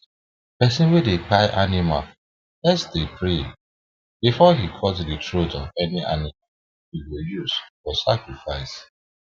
person wey dey kpai animal first dey pray before he cut the throat of any animal he go use for sacrifice